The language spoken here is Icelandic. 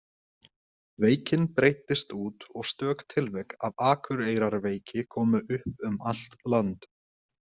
Veikin breiddist út og stök tilvik af Akureyrarveiki komu upp um allt land.